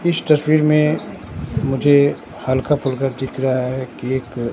इस तस्वीर में मुझे हल्का फुल्का दिख रहा है कि एक--